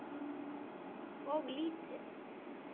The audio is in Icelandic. Þetta er of lítið.